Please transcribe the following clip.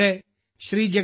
അടുത്തിടെ ശ്രീ